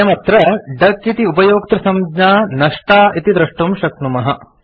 वयम् अत्र डक इति उपयोक्तृसंज्ञा नष्टा इति द्रष्टुं शक्नुमः